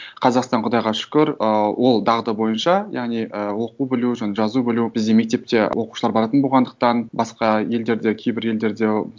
қазақстан құдайға шүкір ыыы ол дағды бойынша яғни і оқу білу жазу білу бізде мектепке оқушылар баратын болғандықтан басқа елдерде кейбір елдерде